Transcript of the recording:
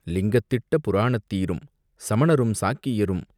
லிங்கத்திட்ட புராணத்தீரும் சமணரும் சாக்கியரும்,